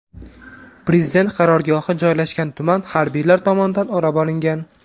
Prezident qarorgohi joylashgan tuman harbiylar tomonidan o‘rab olingan.